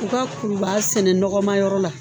U ka kurubaa sɛnɛ nɔgɔma yɔrɔ la.